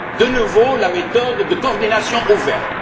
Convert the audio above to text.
De nouveau la méthode de coordination ouverte?